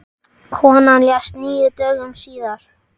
Konan lést níu dögum síðar.